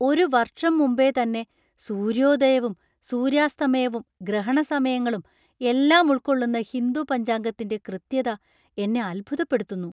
ഒരു വർഷം മുമ്പേ തന്നെ സൂര്യോദയവും ,സൂര്യാസ്തമയവും, ഗ്രഹണ സമയങ്ങളും എല്ലാം ഉൾക്കൊള്ളുന്ന ഹിന്ദു പഞ്ചാംഗത്തിന്‍റെ കൃത്യത എന്നെ അത്ഭുതപ്പെടുത്തുന്നു.